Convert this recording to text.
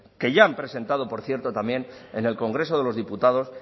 que ya han presentado por cierto también en el congreso de los diputados